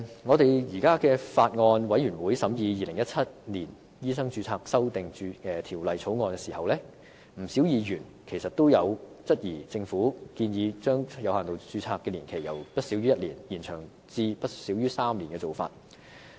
我們在法案委員會審議《2017年醫生註冊條例草案》時，不少議員都質疑政府建議將有限度註冊的年期由不少於1年延長至不少於3年的做法。